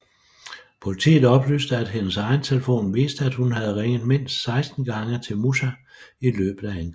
Politiet oplyste at hendes egen telefon viste at hun havde ringet mindst 16 gange til Musa i løbet af angrebet